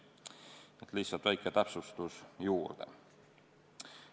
Ehk siis lihtsalt väike täpsustus juurde.